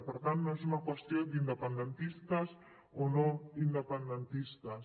per tant no és una qüestió d’independentistes o no independentistes